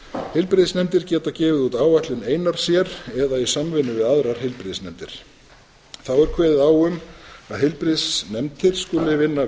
heilbrigðisnefndir geta gefið út áætlun einar sér eða í samvinnu við aðrar heilbrigðisnefndir þá er kveðið á um að heilbrigðisnefndir skuli vinna